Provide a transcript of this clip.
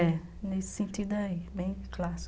É, nesse sentido aí, bem clássico.